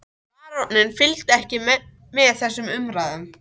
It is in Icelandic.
Baróninn fylgdist ekki með þessum umræðum.